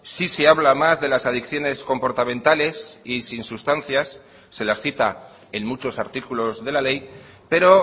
sí se habla más de las adicciones comportamentales y sin sustancias se las cita en muchos artículos de la ley pero